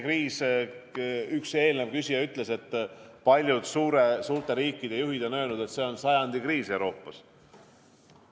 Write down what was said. Üks eelküsija ütles, et paljud suurte riikide juhid on öelnud, et see on sajandi kriis Euroopas.